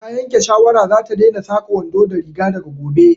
Ta yanke shawara za ta daina saka wando da riga daga gobe